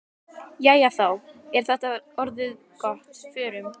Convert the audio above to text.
Jæja, þá er þetta orðið gott. Förum.